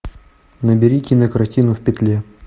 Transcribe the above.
набери кинокартину в петле